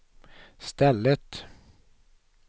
stället